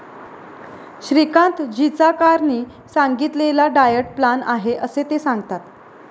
श्रीकांत जीचाकारणी सांगितलेला diet plan आहे असे ते सांगतात.